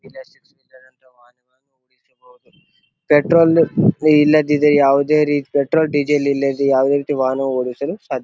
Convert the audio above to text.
ಇಲ್ಲ ಪೆಟ್ರೋಲ್ ಇಲ್ಲದಿದ್ದರೆ ಯಾವುದೇ ಪೆಟ್ರೋಲ್ ಡೀಸೆಲ್ ಇಲ್ಲದೆ ಯಾವುದೇ ರೀತಿಯ ವಾಹನ ಓಡಿಸಲು ಸಾಧ್ಯ--